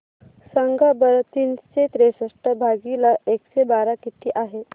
सांगा बरं तीनशे त्रेसष्ट भागीला एकशे बारा किती आहे